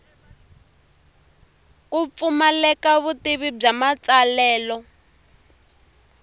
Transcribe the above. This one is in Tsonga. ku pfumaleka vutivi bya matsalelo